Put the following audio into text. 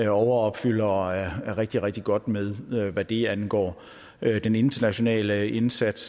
overopfylder og er rigtig rigtig godt med hvad det angår den internationale indsats